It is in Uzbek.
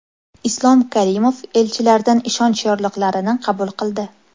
Islom Karimov elchilardan ishonch yorliqlarini qabul qildi.